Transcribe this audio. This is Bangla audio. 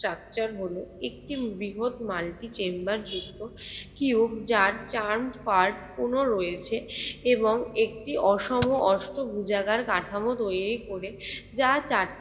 structure হলো একটি বৃহৎ multi chamber r চারুপাঠ পুর্ন রয়েছে এবং একটি অসম অষ্ট ভূ জায়গার কাঠামো তৈরী করে যা চারটি